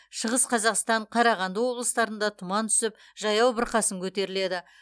шығыс қазақстан қарағанды облыстарында тұман түсіп жаяу бұрқасын көтеріледі